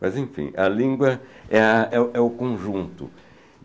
Mas, enfim, a língua é a é é o conjunto.